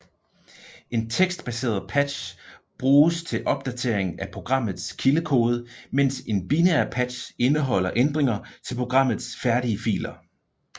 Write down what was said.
En tekstbaseret patch bruges til opdatering af programmets kildekode mens en binær patch indeholder ændringer til programmets færdige filer